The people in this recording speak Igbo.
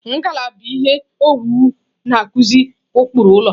Ngalaba ihe owuwu na-akụzi ụkpụrụ ụlọ.